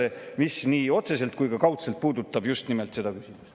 See puudutab nii otseselt kui ka kaudselt just nimelt seda küsimust.